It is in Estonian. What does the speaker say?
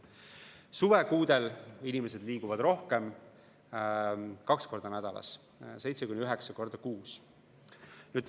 Suvekuudel inimesed liiguvad rohkem ja ründeid on kaks korda nädalas, seitse kuni üheksa korda kuus.